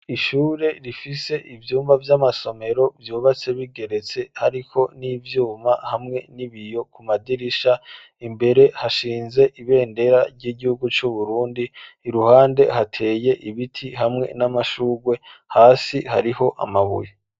Ishure rifise ivyumba vy'amasomero vyubatse bigeretse hariko n'ivyuma hamwe n'ibiyo ku madirisha imbere hashinze ibendera ry'igihugu c'uburundi, iruhande hateye ibiti hamwe n'amashugwe, hasi hariho amabuye.